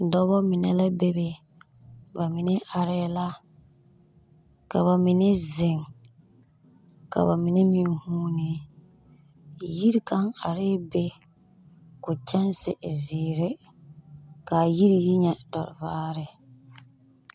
Dɔbɔ mine la bebe, ba mine arɛɛ la, ka ba mine zeŋ, ka ba mine meŋ huunee. Yiri kaŋ arɛɛ be koo kyanse e zeere. Kaa yiri yi nyɛ tɔ vaare.